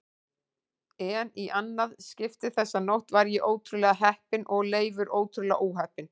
En í annað skipti þessa nótt var ég ótrúlega heppinn og Leifur ótrúlega óheppinn.